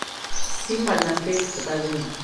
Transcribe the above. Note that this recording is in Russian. фильм одна встреча покажи мне